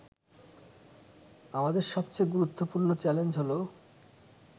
আমাদের সবচেয়ে গুরুত্বপূর্ণ চ্যালেঞ্জ হল